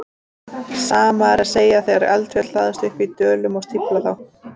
Sama er að segja þegar eldfjöll hlaðast upp í dölum og stífla þá.